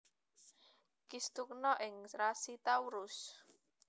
Kistugna ing rasi Taurus